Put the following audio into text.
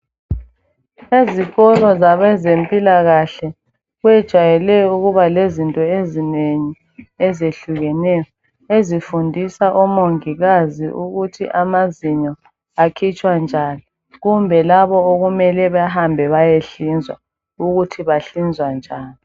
Ezikolo zabezempilakahle kuyejwayele ukuba lezinto ezinengi ezehlukeneyo ezifundisa omongikazi ukuthi amazinyo akhitshwa njani kumbe labo okumele bahambe bayehlizwa ukuthi bahlinzwa njani.